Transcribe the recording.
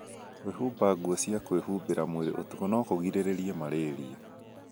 Kwĩhumba nguo cia kwĩhumbĩra mwĩrĩ ũtukũ no kũgirĩrĩrie malaria